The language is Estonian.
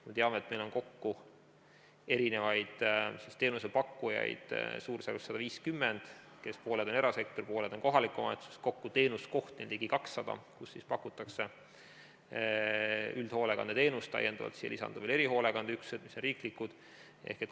Me teame, et meil on teenusepakkujaid suurusjärgus 150, pooled on erasektorist, pooled on kohaliku omavalitsuse teenusepakkujad, teenuskohti on kokku ligi 200, kus pakutakse üldhoolekandeteenust, siia lisanduvad erihoolekandeüksused, mis on riiklikud.